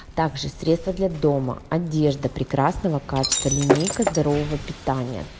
также средства для дома одежда прекрасного качества линейка здорового питания